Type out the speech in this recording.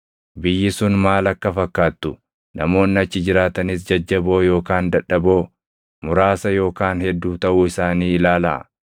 Biyyi sun maal akka fakkaattu, namoonni achi jiraatanis jajjaboo yookaan dadhaboo, muraasa yookaan hedduu taʼuu isaanii ilaalaa.